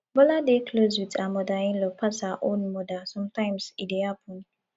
bola dey close with her mother inlaw pass her own mother sometimes e dey happen